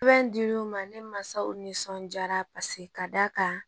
Sɛbɛn dir'u ma ne masaw nisɔndiyara paseke ka d'a kan